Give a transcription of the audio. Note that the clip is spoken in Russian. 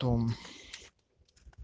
том